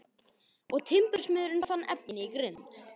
Og timbursmiðurinn fann efni í grind.